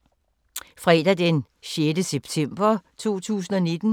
Fredag d. 6. september 2019